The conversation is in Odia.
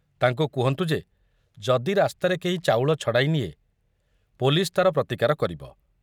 ତାଙ୍କୁ କହନ୍ତୁ ଯେ ଯଦି ରାସ୍ତାରେ କେହି ଚାଉଳ ଛଡ଼ାଇ ନିଏ, ପୋଲିସ ତାର ପ୍ରତିକାର କରିବ।